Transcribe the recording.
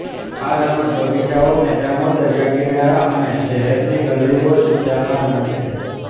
આ રમત બગીચાઓ મેદાનો દરિયાકિનારા અને શહેરની ગલીઓ સુદ્ધામાં રમાય છે